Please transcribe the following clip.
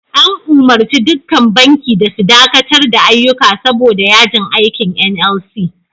An umurci dukkan banki da su dakatar da ayyuka saboda yajin aikin "NLC".